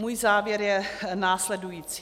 Můj závěr je následující.